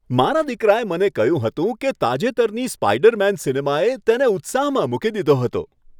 મારા દીકરાએ મને કહ્યું હતું કે તાજેતરની સ્પાઈડરમેન સિનેમાએ તેને ઉત્સાહમાં મૂકી દીધો હતો